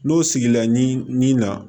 N'o sigila ɲi nin na